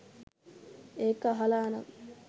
ඒක අහලා නම්